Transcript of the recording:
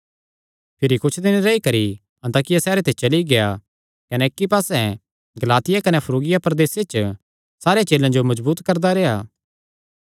भिरी कुच्छ दिन रेई करी अन्ताकिया सैहरे ते चली गेआ कने इक्की पास्से गलातिया कने फ्रूगिया प्रदेसां च सारे चेलेयां जो मजबूत करदा रेह्आ